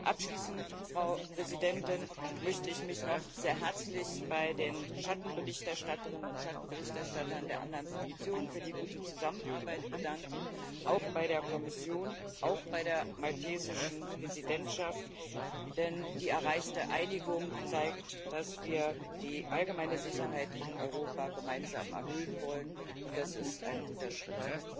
Abschließend, Frau Präsidentin, möchte ich mich noch sehr herzlich bei den Schattenberichterstatterinnen und Schattenberichterstattern der anderen Fraktionen für die gute Zusammenarbeit bedanken, auch bei der Kommission, auch bei der maltesischen Präsidentschaft, denn die erreichte Einigung zeigt, dass wir die allgemeine Sicherheit in Europa gemeinsam erhöhen wollen und das ist ein guter Schritt.